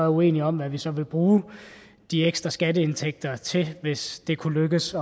uenige om hvad vi så ville bruge de ekstra skatteindtægter til hvis det kunne lykkes